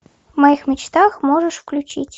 в моих мечтах можешь включить